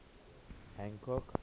hancock